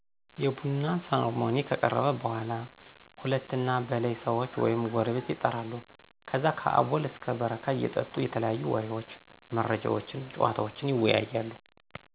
የቡና ሰርሞኒ ከቀረበ በኃላ ሁለት እና በላይ ሰዎች ወይም ጎረቤት የጠራሉ ከዛ ከአቦል እስከ በረካ እየጠጡ የተለያዩ ወሬዎች፣ መረጃዎችነ፣ ጨዋታወችን ይወያያሉ